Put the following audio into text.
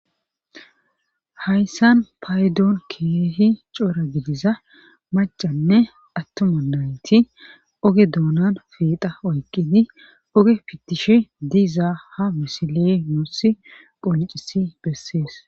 Hayssan payidoon keehi coora gidiza macanne attuma nayti oge doonan fiiqa oyqqidi oge fittishi diizaa ha misile noosi qoncisi bessees.